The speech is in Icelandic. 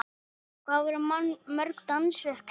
Lillý, verða mörg dansverk sýnd?